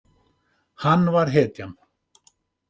Hann var hetjan.